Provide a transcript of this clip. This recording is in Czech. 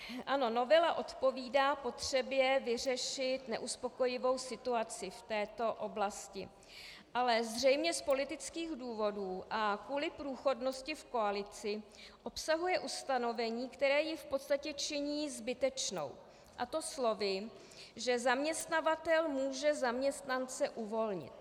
Ano, novela odpovídá potřebě vyřešit neuspokojivou situaci v této oblasti, ale zřejmě z politických důvodů a kvůli průchodnosti v koalici obsahuje ustanovení, které ji v podstatě činí zbytečnou, a to slovy, že zaměstnavatel může zaměstnance uvolnit.